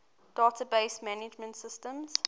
database management systems